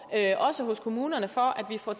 også hos kommunerne for at vi får